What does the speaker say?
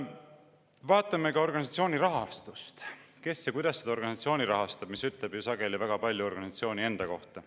Vaatame ka organisatsiooni rahastust, seda, kes ja kuidas seda organisatsiooni rahastab, mis ütleb ju sageli väga palju organisatsiooni enda kohta.